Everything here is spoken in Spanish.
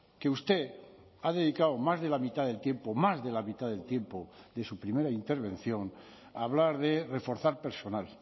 que usted ha dedicado más de la mitad del tiempo más de la mitad del tiempo de su primera intervención a hablar de reforzar personal